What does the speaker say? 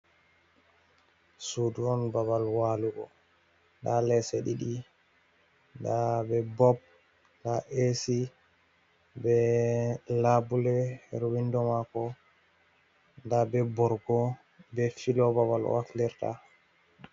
Sudu on babal walugo, nda lese ɗiɗi, nda be bob nda e'si, be labule her windo mako, nda be borgo be filo babal o waflirta.